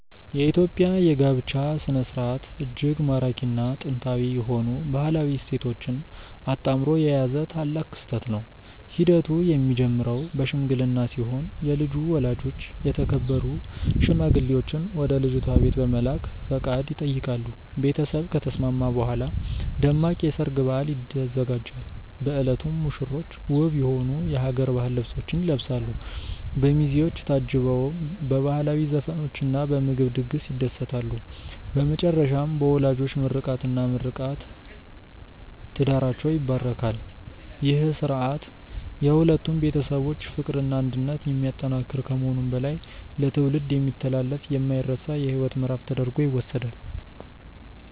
የኢትዮጵያ የጋብቻ ሥነ ሥርዓት እጅግ ማራኪና ጥንታዊ የሆኑ ባህላዊ እሴቶችን አጣምሮ የያዘ ታላቅ ክስተት ነው። ሂደቱ የሚጀምረው በሽምግልና ሲሆን የልጁ ወላጆች የተከበሩ ሽማግሌዎችን ወደ ልጅቷ ቤት በመላክ ፈቃድ ይጠይቃሉ። ቤተሰብ ከተስማማ በኋላ ደማቅ የሰርግ በዓል ይዘጋጃል። በዕለቱም ሙሽሮች ውብ የሆኑ የሀገር ባህል ልብሶችን ይለብሳሉ፤ በሚዜዎች ታጅበውም በባህላዊ ዘፈኖችና በምግብ ድግስ ይደሰታሉ። በመጨረሻም በወላጆች ምርቃትና ምርቃት ትዳራቸው ይባረካል። ይህ ሥርዓት የሁለቱን ቤተሰቦች ፍቅርና አንድነት የሚያጠናክር ከመሆኑም በላይ ለትውልድ የሚተላለፍ የማይረሳ የሕይወት ምዕራፍ ተደርጎ ይወሰዳል።